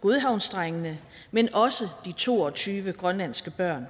godhavnsdrengene men også de to og tyve grønlandske børn